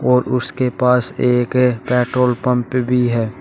और उसके पास एक एक पेट्रोल पंप भी है।